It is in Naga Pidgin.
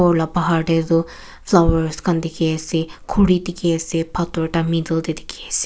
ulha pahar teh jo flowers khan dikhi ase khori dikhi ase pathor ta middle teh dikhi ase.